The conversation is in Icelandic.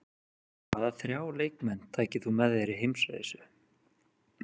Hvaða þrjá leikmenn tækir þú með þér í heimsreisu?